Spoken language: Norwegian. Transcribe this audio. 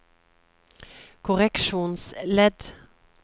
korreksjonsledd